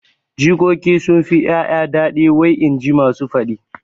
Jikoki sunfi ƴaƴa daɗi wai inji masu faɗi